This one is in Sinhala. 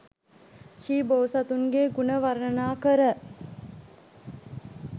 ශ්‍රී බෝසතුන්ගේ ගුණ වර්ණනාකර